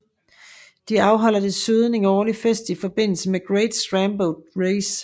De afholder desuden en årlig fest i forbindelse med Great Steamboat Race